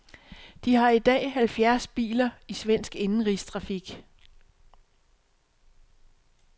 De har i dag halvfjerds biler i svensk indenrigstrafik.